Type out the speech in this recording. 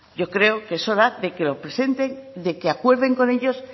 yo creo que es hora de que lo presenten de que acuerden con ellos